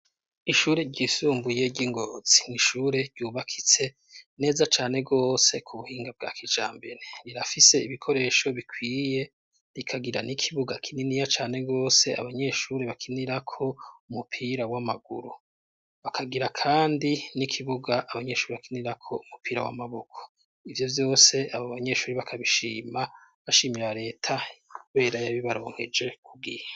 Ishure ryisumbuye ry'ingozii n'ishure ryubakitse neza cane gose k'ubuhinga bwa kijambere rirafise ibikoresho bikwiye rikagira n'ikibuga kininiya cane gose abanyeshuri bakinirako umupira w'amaguru bakagira kandi n'ikibuga abanyeshuri bakinirako umupira w'amaboko. Ivyo yose abobanyeshuri bakabishima bashimira reta kubera yabibaronkeje kubwiya.